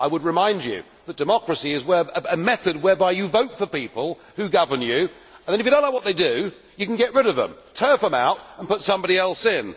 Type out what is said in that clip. I would remind him that democracy is a method whereby you vote for people who govern you and then, if you do not like what they do, you can get rid of them, turf them out and put somebody else in.